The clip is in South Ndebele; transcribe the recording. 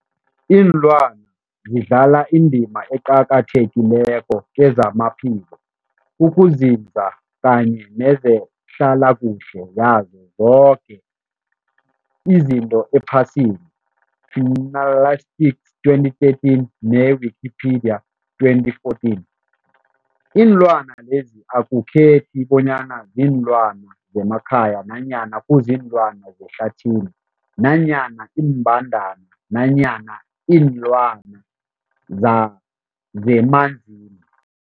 Ilwana zidlala indima eqakathekileko kezamaphilo, ukunzinza kanye nezehlala kuhle yazo zoke izinto ephasini, Fuanalytics 2013, ne-Wikipedia 2014. Iinlwana lezi akukhethi bonyana ziinlwana zemakhaya nanyana kuziinlwana zehlathini nanyana iimbandana nanyana iinlwana za zemanzini.